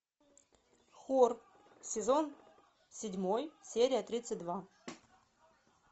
хор сезон седьмой серия тридцать два